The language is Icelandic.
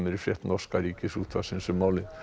í frétt norska Ríkisútvarpsins um málið